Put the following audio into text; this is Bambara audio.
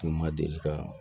U ma deli ka